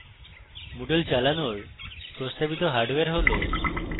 moodle চালানোর প্রস্তাবিত hardware হল: